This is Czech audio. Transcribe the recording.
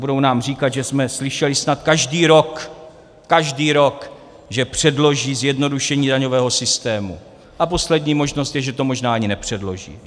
Budou nám říkat, že jsme slyšeli snad každý rok, každý rok, že předloží zjednodušení daňového systému - a poslední možnost je, že to možná ani nepředloží.